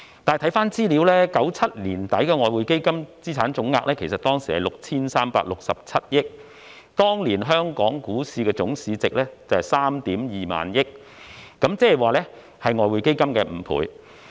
但是，翻查資料 ，1997 年年底的外匯基金資產總額是 6,367 億元，當年的香港股票市場總市值則為 32,000 億元，亦即外匯基金的5倍。